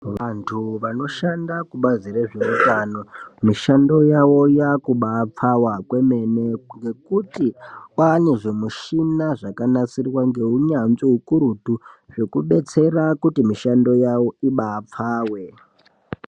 Vantu vanoshanda kubazi rezveutano, mishando yavo yakubapfawa kwemene ngekuti kwaane zvimushina zvakanasirwa ngeunyanzvi ukurutu, zvekudetsera kuti mishando yavo ibaapfawe.